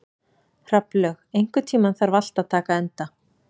Hrafnlaug, einhvern tímann þarf allt að taka enda.